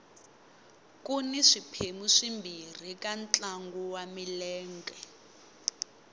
kuni swiphemu swimbirhi ka ntlangu wa milenge